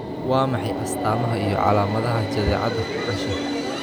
Waa maxay astamaha iyo calaamadaha jadeecada ku dhasha?